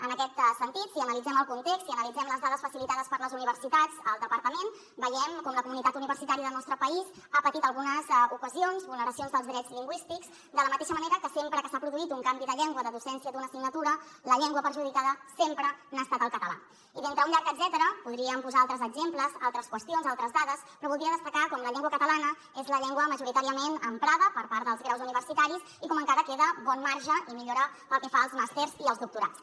en aquest sentit si analitzem el context i analitzem les dades facilitades per les universitats al departament veiem com la comunitat universitària del nostre país ha patit algunes ocasions vulneracions dels drets lingüístics de la mateixa manera que sempre que s’ha produït un canvi de llengua de docència d’una assignatura la llengua perjudicada sempre n’ha estat el català i d’entre un llarg etcètera podríem posar altres exemples altres qüestions altres dades però voldria destacar com la llengua catalana és la llengua majoritàriament emprada per part dels graus universitaris i com encara queda bon marge i millora pel que fa als màsters i els doctorats